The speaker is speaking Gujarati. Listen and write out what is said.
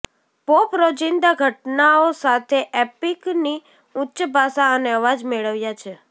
પોપ રોજિંદા ઘટનાઓ સાથે એપિકની ઉચ્ચ ભાષા અને અવાજ મેળવ્યા છે